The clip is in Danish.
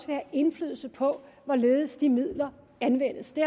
have indflydelse på hvorledes de midler anvendes det